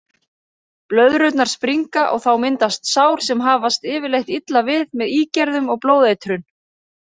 Blöðrurnar springa og þá myndast sár sem hafast yfirleitt illa við með ígerðum og blóðeitrun.